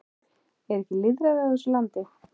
Er ekki lýðræði á þessu landi?